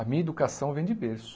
A minha educação vem de berço.